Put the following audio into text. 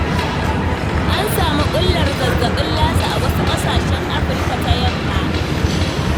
An samu ɓullar zazzaɓin lasa a wasu ƙasashen Afirika ta yamma.